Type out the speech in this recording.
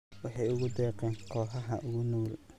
Waxay ugu deeqeen kooxaha ugu nugul.